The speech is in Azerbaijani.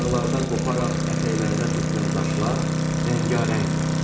Dağlardan qoparaq ətəklərinə tökülən daşlar rəngarəngdir.